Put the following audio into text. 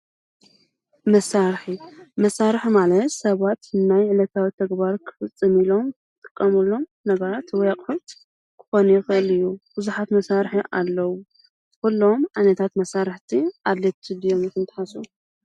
መሳርሒ ፦መሳርሒ ማለት ሰባት ናይ ዕለታዊ ተግባር ክፍፅምሉ ዝጥቀምሉ ነገራት ወይ ኣቑሑ ክከውን ይክእል እዩ። ብዙሓት መሳርሒ ኣለው። ኩሎም ዓይነት መሳርሒ ኣቑሑ ኣድለይቲ እዮም ኢልኩ ድኩም ትሓስቡ?